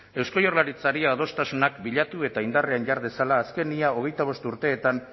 eusko jaurlaritzari adostasunak bilatu eta indarrean jar dezala azken ia hogeita bost urteetan